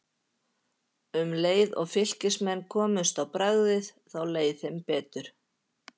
Um leið og Fylkismenn komust á bragðið þá leið þeim betur.